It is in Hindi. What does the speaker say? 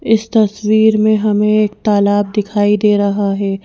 इस तस्वीर में हमें एक तालाब दिखाई दे रहा है।